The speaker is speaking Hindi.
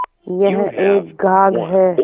यह एक घाघ हैं